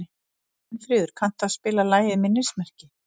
Steinfríður, kanntu að spila lagið „Minnismerki“?